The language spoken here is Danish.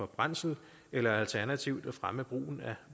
brændsel eller alternativt at fremme brugen af